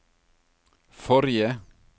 forrige